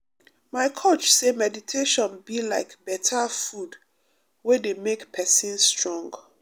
my coach say meditation be like better food wey dey make person strong.